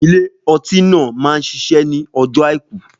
Ilé ọtí náà máa ń ṣiṣẹ́ ní ọjọ́ àìkú